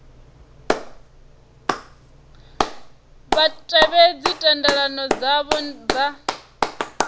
vha tevhedze thendelano dzavho dza